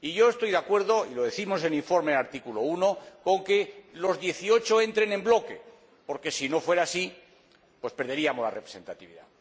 Estoy de acuerdo y lo decimos en el informe en el apartado 1, con que los 18 entren en bloque, porque, si no fuera así, perderíamos la representatividad.